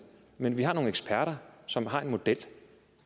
men vi har nogle eksperter som har en model og